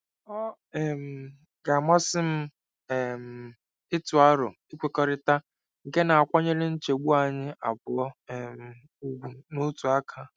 Ọ um ga-amasị m um ịtụ aro nkwekọrịta nke na-akwanyere nchegbu anyị abụọ um ùgwù n'otu aka.